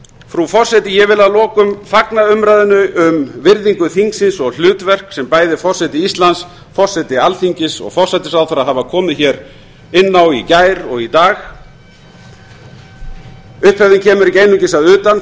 frú forseti ég vil að lokum fagna umræðunni um virðingu þingsins og hlutverk sem bæði forseti íslands forseti alþingis og forsætisráðherra hafa komið inn á í gær og í dag upphefðin kemur ekki einungis að utan